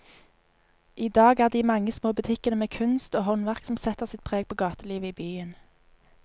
I dag er det de mange små butikkene med kunst og håndverk som setter sitt preg på gatelivet i byen.